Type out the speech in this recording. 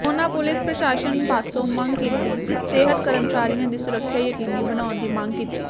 ਉਨ੍ਹਾਂ ਪੁਲਿਸ ਪ੍ਰਸਾਸਨ ਪਾਸੋਂ ਮੰਗ ਕੀਤੀ ਸਿਹਤ ਕਰਮਚਾਰੀਆ ਦੀ ਸੁਰੱਖਿਆ ਯਕੀਨੀ ਬਣਾਉਣ ਦੀ ਮੰਗ ਕੀਤੀ